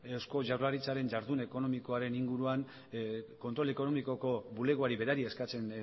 eusko jaurlaritzaren jardun ekonomikoaren inguruan kontrol ekonomikoko bulegoari berari eskatzen